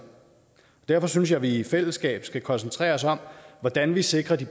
derfor synes jeg vi i fællesskab skal koncentrere os om hvordan vi sikrer de